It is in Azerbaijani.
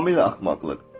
Tamamilə axmaqlıq.